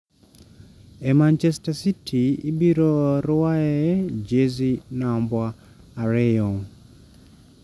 E Manchester city ibiro ruae jezi namba ariyo